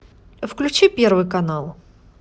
включи первый канал